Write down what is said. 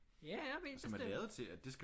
Ja ja helt bestemt